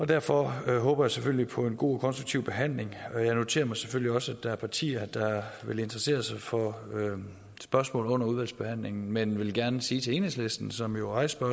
derfor håber jeg selvfølgelig på en god og konstruktiv behandling jeg noterer mig selvfølgelig også at der er partier der vil interessere sig for nogle spørgsmål under udvalgsbehandlingen men vil gerne sige til enhedslisten som jo rejste